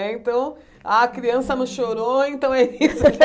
É então, a criança não chorou, então é isso.